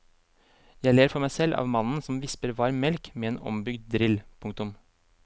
Jeg ler for meg selv av mannen som visper varm melk med en ombygd drill. punktum